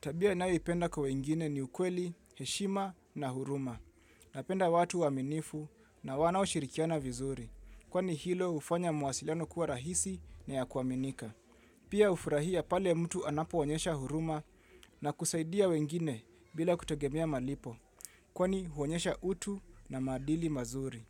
Tabia ninayo ipenda kwa wengine ni ukweli, heshima na huruma. Napenda watu waaminifu na wanao shirikiana vizuri. Kwani hilo hufanya mawasiliano kuwa rahisi na ya kuaminika. Pia hufurahia pale mtu anapo onyesha huruma na kusaidia wengine bila kutegemea malipo. Kwani huonyesha utu na maadili mazuri.